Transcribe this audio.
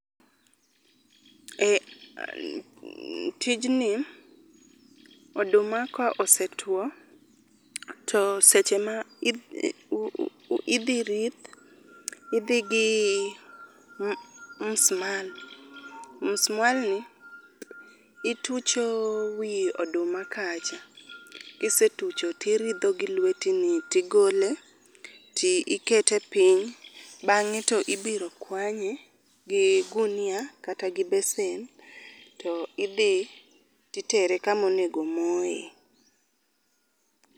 Ee tijni, oduma ka osetuo to seche ma idhi rith, idhi gi musmal. Musmalni itucho wi oduma kacha, kisetucho tiridho gilweti ni ,igole, ikete piny bang'e to ibiro kwanye gi gunia kata gi besen to idhi to itere kama onego moyee.